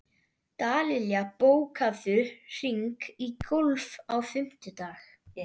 Dallilja, bókaðu hring í golf á fimmtudaginn.